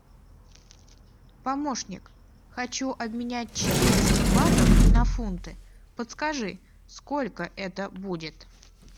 помощник хочу обменять четыреста батов на фунты подскажи сколько это будет